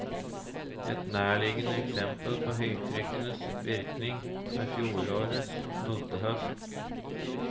Et nærliggende eksempel på høytrykkenes virkning er fjorårets multehøst.